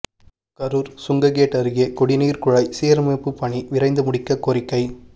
கரூர் சுங்ககேட் அருகே குடிநீர் குழாய் சீரமைப்பு பணி விரைந்து முடிக்க கோரிக்கை